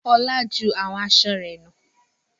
Olá ju àwọn aṣọ rẹ̀ nù.